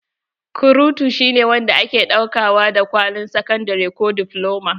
Kurutu shine wanda ake ɗauka wa da kwalin sakandare ko difloma.